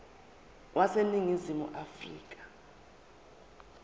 wase ningizimu afrika